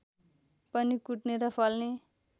पनि कुट्ने र फल्ने